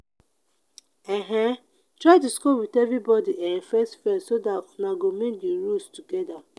um try discuss with everyone um first first so that una go make the rules together